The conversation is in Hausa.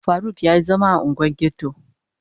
Faruk ya yi zama a unguwar ghetto